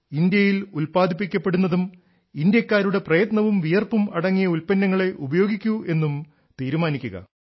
ഇന്ത്യയിൽ ഉല്പാദിപ്പിക്കപ്പെടുന്നതും ഇന്ത്യക്കാരുടെ പ്രയത്നവും വിയർപ്പും അടങ്ങിയ ഉല്പ്പന്നങ്ങളേ ഉപയോഗിക്കൂ എന്നും തീരുമാനിക്കുക